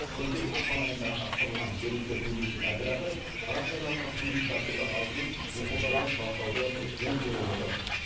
өткен ақпан айында ғана құрылған жергілікті туристік оператор ғарыш айлағына турист тартуды алдымен оқушылардан бастауды жөн көріп отыр